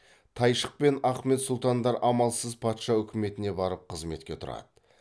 тайшық пен ахмет сұлтандар амалсыз патша үкіметіне барып қызметке тұрады